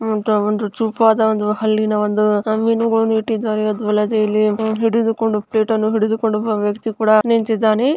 ಅಂತ ಒಂದು ಚೂಪಾದ ಒಂದು ಹಲ್ಲಿನ ಒಂದು ಮೀನುಗಳನ್ನು ಇಟ್ಟಿದ್ದಾರೆ. ಅದು ವಲೆದು ಇಲ್ಲಿ ಹಿಡಿದುಕೊಂಡು ಒಂದು ಪ್ಲೇಟ ನ್ನು ಹಿಡಿದುಕೊಂಡು ಒಬ್ಬ ವ್ಯಕ್ತಿ ಕೂಡ ನಿಂತಿದ್ದಾನೆ.